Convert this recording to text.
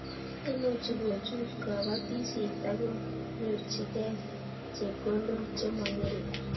Imuchi kochut kobotisiet akonyorchikei chepkondok che mongering